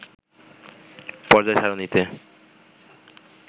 পর্যায় সারণীতে